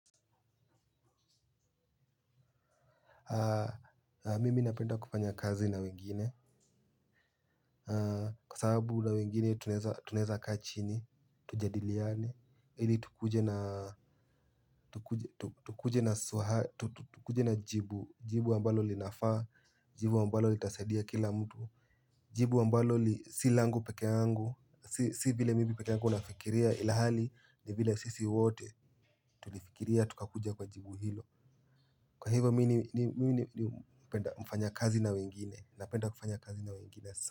Mimi napenda kufanya kazi na wengine. Kwa sababu na wengine tunaweza kaa chini. Tujadiliane. Ili tukuje na jibu jibu wa mbalo linafa. Jibu ambalo litasaidia kila mtu. Jibu ambalo si langu peke yangu. Si vile mimi pekeangu unafikiria. Ila hali ni vile sisi wote. Tulifikiria tukakuja kwa jibu hilo. Kwa hivo mimi napenda kufanya kazi na wengine. Napenda kufanya kazi na wengine sa.